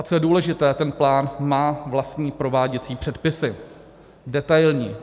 A co je důležité, ten plán má vlastní prováděcí předpisy, detailní.